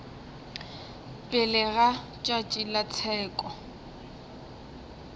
pele ga tšatši la tsheko